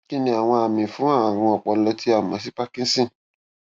kíniàwọn àmì fún àrùn ọpọlọ tí a mọ sí parkinson